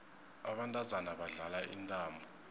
abantazana badlala intambo